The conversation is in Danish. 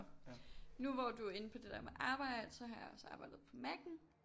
Nu hvor du er inde på det der med arbejde så har jeg også arbejdet på Maccen